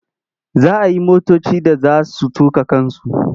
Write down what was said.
Za a yi motoci da za su tuƙa kansu.